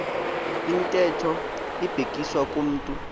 ntetho ibhekiswa kumntu